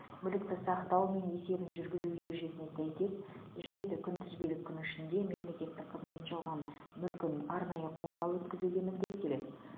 мүлікті сақтау мен есебін жүргізу ережесіне сәйкес жеті күнтізбелік күн ішінде мемлекеттік қызметші алған мүлкін арнайы қорға өткізуге міндеттеледі